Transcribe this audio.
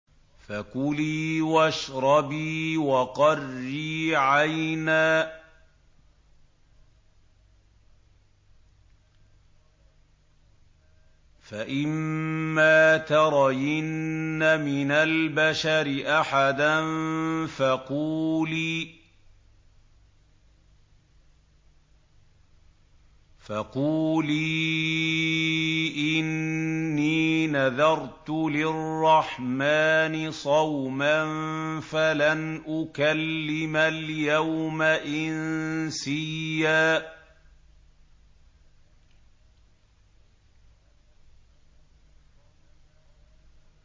فَكُلِي وَاشْرَبِي وَقَرِّي عَيْنًا ۖ فَإِمَّا تَرَيِنَّ مِنَ الْبَشَرِ أَحَدًا فَقُولِي إِنِّي نَذَرْتُ لِلرَّحْمَٰنِ صَوْمًا فَلَنْ أُكَلِّمَ الْيَوْمَ إِنسِيًّا